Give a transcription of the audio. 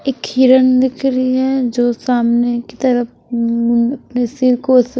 एक हिरन दिख रही है जो सामने की तरफ उम्म अपने सिर को उस--